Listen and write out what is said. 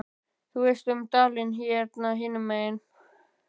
Þú veist um dalinn hérna hinum megin.